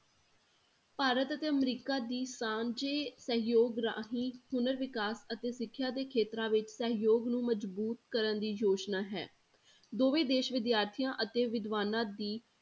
ਭਾਰਤ ਅਤੇ ਅਮਰੀਕਾ ਦੀ ਸਾਂਝੇ ਸਹਿਯੋਗ ਰਾਹੀਂ ਹੁਨਰ ਵਿਕਾਸ ਅਤੇ ਸਿੱਖਿਆ ਦੇ ਖੇਤਰਾਂ ਵਿੱਚ ਸਹਿਯੋਗ ਨੂੰ ਮਜ਼ਬੂਤ ਕਰਨ ਦੀ ਯੋਜਨਾ ਹੈ, ਦੋਵੇਂ ਦੇਸ ਵਿਦਿਆਰਥੀਆਂ ਅਤੇ ਵਿਦਵਾਨਾਂ ਦੀ